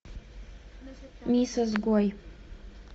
мисс изгой